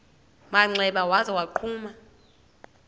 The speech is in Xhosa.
manxeba waza wagquma